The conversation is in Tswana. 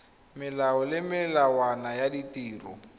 melao le melawana ya ditiro